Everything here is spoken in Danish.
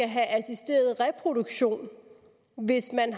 have assisteret reproduktion hvis man